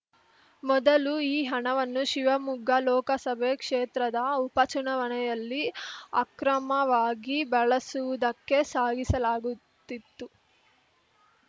ಮೊದಲು ಈ ಹಣವನ್ನು ಶಿವಮೊಗ್ಗ ಲೋಕಸಬೆ ಕ್ಷೇತ್ರದ ಉಪಚುನಾವಣೆಯಲ್ಲಿ ಅಕ್ರಮವಾಗಿ ಬಳಸುವುದಕ್ಕೆ ಸಾಗಿಸಲಾಗುತ್ತಿತ್ತು